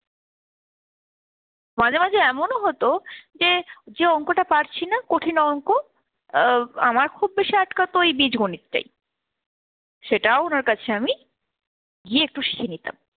মাঝে মাঝে এমনও হতো যে যে অংকটা পারছিনা কঠিন অংক আহ আমার খুব বেশি আটকাত ওই বীজগণিতটাই। সেটাও ওনার কাছে আমি গিয়ে একটু শিখে নিতাম।